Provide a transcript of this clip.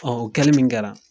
o kɛli min kɛra.